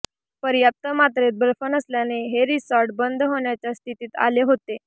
पर्याप्त मात्रेत बर्फ नसल्याने हे रिसॉर्ट बंद होण्याच्या स्थितीत आले होते